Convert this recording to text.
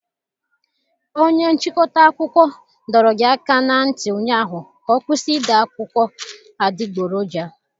Onye nchịkọta akụkọ dọrọ gi aka ná ntị ụnyaahụ ka ọ kwụsị ide akụkọ adịgboroja!